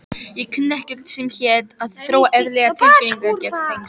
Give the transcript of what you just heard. Ég kunni ekkert sem hét að þróa eðlileg tilfinningatengsl.